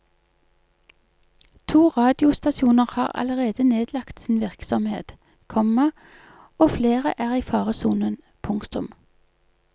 To radiostasjoner har allerede nedlagt sin virksomhet, komma og flere er i faresonen. punktum